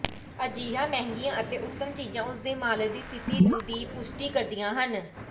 ਅਜਿਹੀਆਂ ਮਹਿੰਗੀਆਂ ਅਤੇ ਉੱਤਮ ਚੀਜ਼ਾਂ ਉਸ ਦੇ ਮਾਲਕ ਦੀ ਸਥਿਤੀ ਦੀ ਪੁਸ਼ਟੀ ਕਰਦੀਆਂ ਹਨ